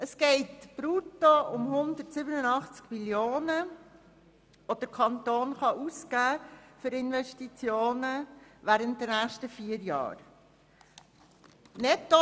Es geht um 187 Mio. Franken brutto, welche der Kanton für Investitionen während der nächsten vier Jahre ausgeben kann.